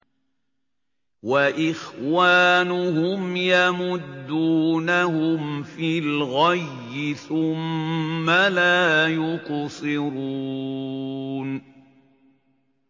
وَإِخْوَانُهُمْ يَمُدُّونَهُمْ فِي الْغَيِّ ثُمَّ لَا يُقْصِرُونَ